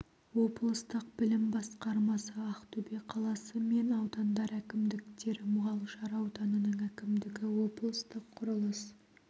облыстық білім басқармасы ақтөбе қаласы мен аудандар әкімдіктері мұғалжар ауданының әкімдігі облыстық құрылыс